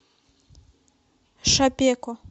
шапеко